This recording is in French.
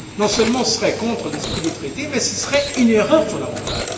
Non seulement ce serait contre l'esprit des Traités, mais ce serait une erreur fondamentale.